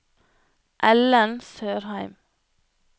Ellen Sørheim